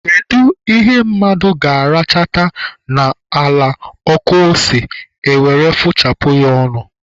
Kedu ihe mmadụ ga-arachata n'ala ọkụ ose, e were fụchapụ ya ọnụ?